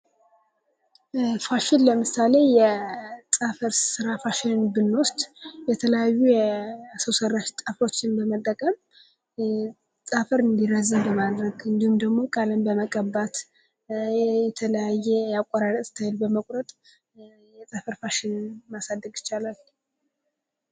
ፋሽን ለምሳሌ፦ የጥፍር ስራ ፋሽንን ብንወስድ የተለያዩ የሰው ሰራሽ ጥፍሮችን በመጠቀም ጥፍር እንዲራዘም በማድረግ እንዲሁም ደግሞ ቀለም በመቀባት የተለያየ የአቆራረጥ እስታይል በመቁረጥ የጥፍር ፋሽንን ማሳደግ ይቻላል።